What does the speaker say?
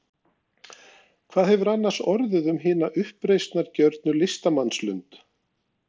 Hvað hefur annars orðið um hina uppreisnargjörnu listamannslund?